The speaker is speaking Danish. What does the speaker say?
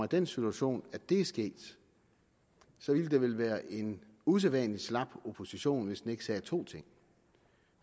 den situation at det er sket ville det vel være en usædvanlig slap opposition hvis den ikke sagde følgende to ting